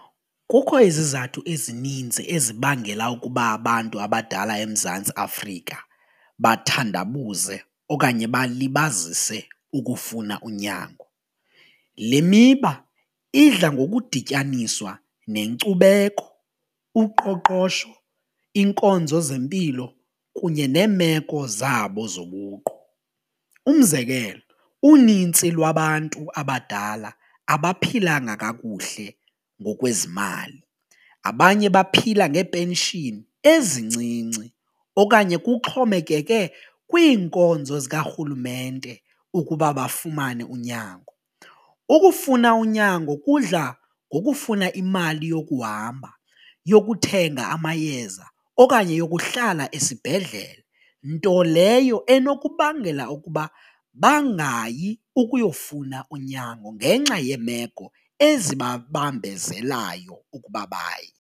Kukho izizathu ezininzi ezibangela ukuba abantu abadala eMzantsi Afrika bathandabuze okanye balibazise ukufuna unyango, le miba idla ngokudityaniswa nenkcubeko, uqoqosho iinkonzo zempilo kunye neemeko zabo zobuqu. Umzekelo unintsi lwabantu abadala abaphilanga kakuhle ngokwezimali abanye baphila ngee-pension ezincinci okanye kuxhomekeke kwiinkonzo zikarhulumente ukuba bafumane unyango. Ukufuna unyango kudla ngokufuna imali yokuhamba, yokuthenga amayeza okanye yokuhlala esibhedlele nto leyo enokubangela ukuba bangayi ukuyofuna unyango ngenxa yeemeko ezibabambezelayo ukuba baye.